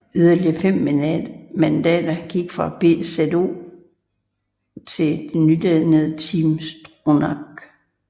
Yderligere 5 mandater gik fra BZÖ til det nydannede Team Stronach